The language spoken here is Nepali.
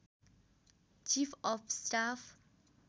chief of staff